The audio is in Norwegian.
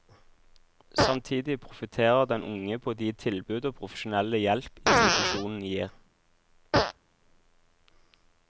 Samtidig profitterer den unge på de tilbud og profesjonelle hjelp institusjonen gir.